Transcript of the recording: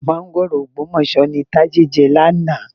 Máńgòrò Ògbómọ̀ṣọ́ ni Tádé jẹ lánàá.